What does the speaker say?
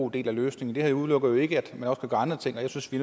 del af løsningen det her udelukker jo ikke at kan gøre andre ting og jeg synes vi